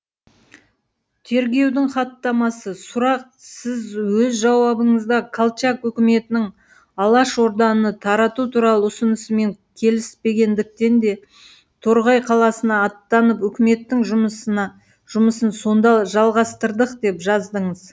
тергеудің хаттамасы сұрақ сіз өз жауабыңызда колчак үкіметінің алашорданы тарату туралы ұсынысымен келіспегендіктен де торғай қаласына аттанып үкіметтің жұмысын сонда жалғастырдық деп жаздыңыз